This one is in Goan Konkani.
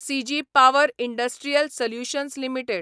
सिजी पावर इंडस्ट्रियल सल्युशन्स लिमिटेड